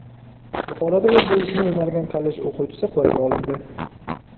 Buxoroda o‘z buvisini o‘margan kollej o‘quvchisi qo‘lga olindi.